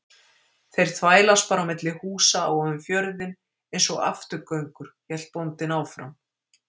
Þeir þvælast bara á milli húsa og um fjörðinn einsog afturgöngur, hélt bóndinn áfram.